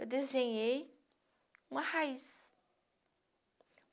Eu desenhei uma raiz.